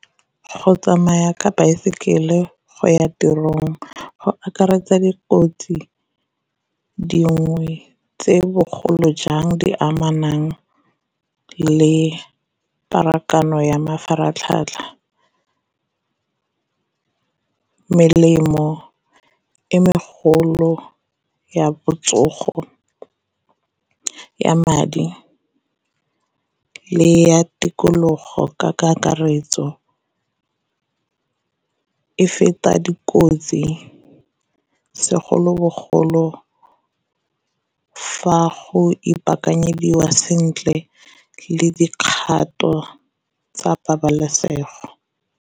Go tsamaya ka baesekele go ya tirong go akaretsa dikotsi dingwe tse bogolo jang di amanang le pharakano ya mafaratlhatlha, melemo e megolo ya botsogo, ya madi, le ya tikologo ka kakaretso e feta dikotsi segolobogolo fa go ipaakanyediwa sentle le dikgato tsa pabalesego.